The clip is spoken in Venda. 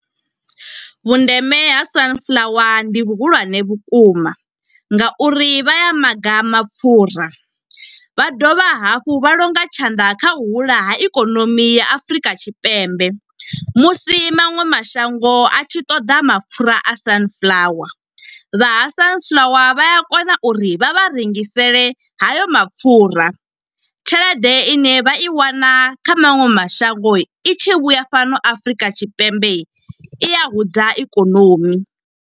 Vhundeme ha sunflower ndi vhuhulwane vhukuma nga uri vha ya maga mapfura. Vha dovha hafhu vha longa tshanḓa kha u hula ha ikonomi ya Afurika Tshipembe, musi maṅwe mashango a tshi ṱoḓa mapfura a sunflower, vha ha sunflower vha a kona uri vha vha rengisele hayo mapfura. Tshelede ine vha i wana kha maṅwe mashango, i tshi vhuya fhano Afrika Tshipembe i a hudza ikonomi.